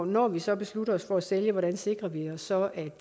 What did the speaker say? når vi så beslutter os for at sælge hvordan sikrer vi os så at